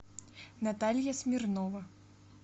наталья смирнова